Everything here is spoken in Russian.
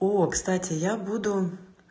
о кстати я буду